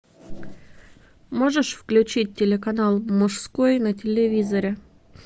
можешь включить телеканал мужской на телевизоре